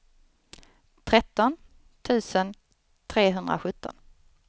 tretton tusen trehundrasjutton